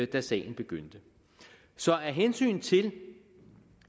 da sagen begyndte så af hensyn til